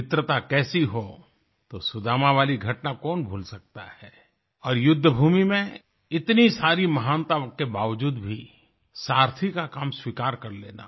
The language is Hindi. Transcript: मित्रता कैसी हो तो सुदामा वाली घटना कौन भूल सकता है और युद्ध भूमि में इतनी सारी महानताओं के बावजूद भी सारथी का काम स्वीकार कर लेना